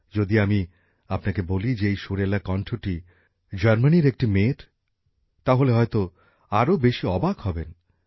যদি আমি আপনাকে বলি যে এই সুরেলা কন্ঠটি জার্মানির একটি মেয়ের তাহলে হয়তো আরো বেশি অবাক হবেন